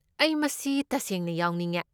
ꯑꯩ ꯃꯁꯤ ꯇꯁꯦꯡꯅ ꯌꯥꯎꯅꯤꯡꯉꯦ꯫